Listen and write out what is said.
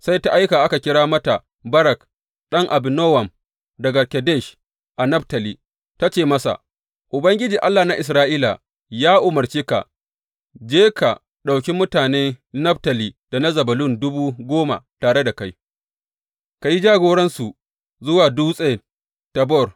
Sai ta aika a kira mata Barak ɗan Abinowam daga Kedesh a Naftali, ta ce masa, Ubangiji, Allah na Isra’ila ya umarce ka, Je ka, ka ɗauki mutane Naftali da na Zebulun dubu goma tare da kai, ka yi jagoransu zuwa Dutse Tabor.